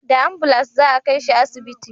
Da ambulans za a kai shi asibiti